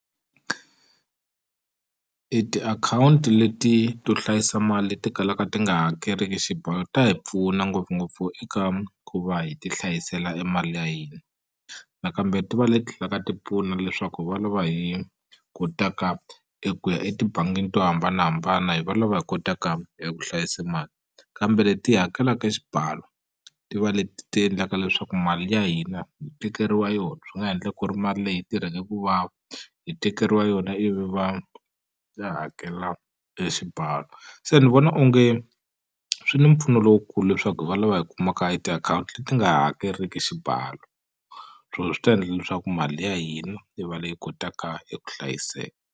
I tiakhawunti leti to hlayisa mali ti kalaka ti nga hakeriki xibalo ta hi pfuna ngopfungopfu eka ku va hi ti hlayisela e mali ya hina nakambe ti va leti tlha ka ti pfuna leswaku hi va lava hi kotaka eku ya etibangini to hambanahambana hi va lava hi kotaka eku hlayisa mali kambe leti hakelaka e xibalo ti va leti ti endlaka leswaku mali ya hina hi tekeriwa yona swi nga endleka ku ri mali leyi hi yi tirhake ku vava hi tekeriwa yona ivi va ya hakela e xibalo se ni vona onge swi ni mpfuno lowukulu leswaku hi va lava hi kumaka e tiakhawunti leti nga hakeriki xibalo so swi ta endla leswaku mali ya hina yi va leyi kotaka eku hlayiseka.